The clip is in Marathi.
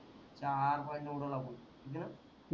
चार पॉईंट न उडवला तु